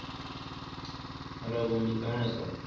hello বন্ধু কেমন আছো?